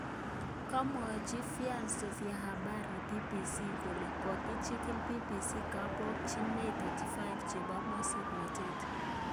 Komwachi vyanso vya habari BBC kole kochigili BBC kabokchinet 35 chebo mosoknotet